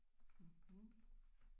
Mhm